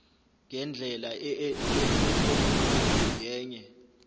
ngendlela yeelektroniki ngenye